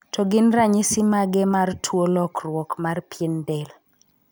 To gin ranyisi mage mar tuo lokruok mar pien del?